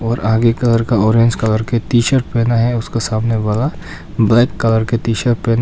और आगे का लड़का ऑरेंज कलर का टी शर्ट पहना है उसका सामने वाला ब्लैक कलर का टी शर्ट पहना।